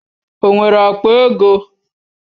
O nwere akpa ego?